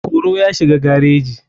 koro ya shiga gareji.